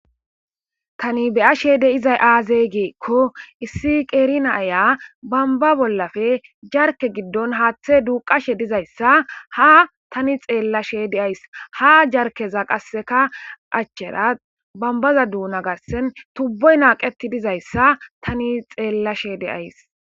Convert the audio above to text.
Tani beya she de izay aazey geekko issi qeerina aya bamba bollafe jarke giddon haaththe duuqashe dizayssa ha tani xeella she deays ha jarkeza qasseka achchera bambaza duuna garsen tubboy naaqeti dizayssa tani xeellashe de ays.